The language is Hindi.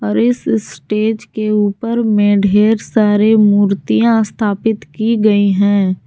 और इस स्टेज के ऊपर में ढेर सारे मूर्तियां स्थापित की गई है।